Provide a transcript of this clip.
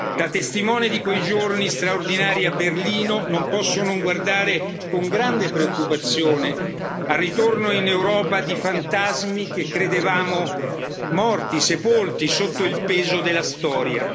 Da testimone di quei giorni straordinari a Berlino non posso non guardare con grande preoccupazione al ritorno in Europa di fantasmi che credevamo morti, sepolti sotto il peso della storia.